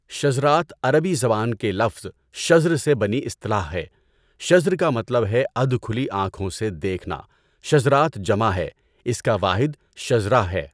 شزرات عربی زبان کے لفظ "شزر" سے بنی اِصطلاح ہے۔ شزر کا مطلب ہے ادھ کھلی آنکھوں سے دیکھنا۔ شزرات جمع ہے، اِس کا واحد شزرہ ہے۔